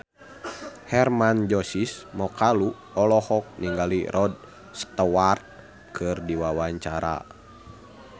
Hermann Josis Mokalu olohok ningali Rod Stewart keur diwawancara